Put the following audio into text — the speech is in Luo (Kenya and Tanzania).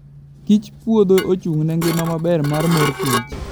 Kich puodho ochung'ne ngima maber mar mor kich.